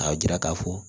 K'a jira k'a fɔ